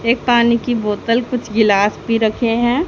एक पानी की बोतल कुछ गिलास भी रखे हैं।